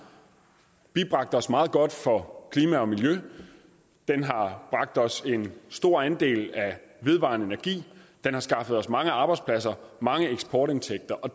bibragt os meget godt for klima og miljø den har bragt os en stor andel af vedvarende energi den har skaffet os mange arbejdspladser mange eksportindtægter og